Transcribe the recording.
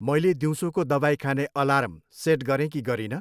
मैले दिउँसोको दबाई खाने अलार्म सेट गरेँ कि गरिनँ?